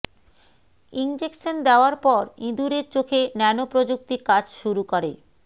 injection দেয়ার পর ইঁদুরের চোখে ন্যানোপ্রযুক্তি কাজ শুরু করে